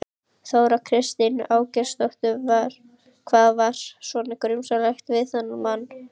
Þóra Kristín Ásgeirsdóttir: Hvað var svona grunsamlegt við þennan mann?